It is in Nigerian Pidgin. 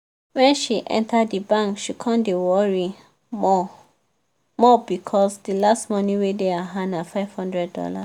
wen she enter di bank she come dey worried more-more becos di last money wey dey her hand na five hundred dollars